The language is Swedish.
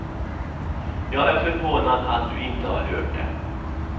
Jag är förvånad att du inte har hört det.